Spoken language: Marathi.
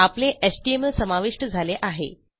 आपले एचटीएमएल समाविष्ट झाले आहे